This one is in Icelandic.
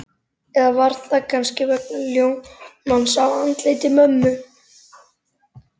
Eða var það kannski vegna ljómans á andliti mömmu?